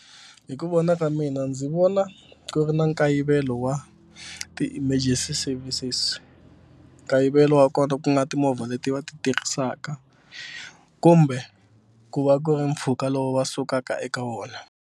Hi ku vona ka mina ndzi vona ku ri na nkayivelo wa ti-emergency services nkayivelo wa kona ku nga timovha leti va ti tirhisaka kumbe ku va ku ri mpfhuka lowu va sukaka eka wona.